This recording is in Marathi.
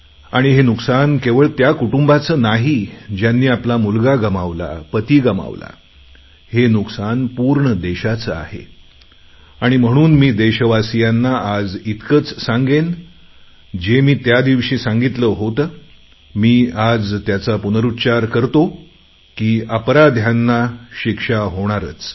आणि हे नुकसान केवळ त्या कुटुंबाचे नाही ज्यांनी आपला मुलगा गमावला पती गमावला हे नुकसान पूर्ण देशाचे आहे आणि म्हणून मी देशवासियांना आज इतकेच सांगेन जे मी त्या दिवशी सांगितले होते मी आज त्याचा पुनरुच्चार करतो की अपराध्यांना शिक्षा होणारच